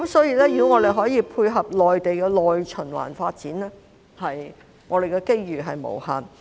如果我們可以配合內地的內循環發展，我們的機遇是無限的。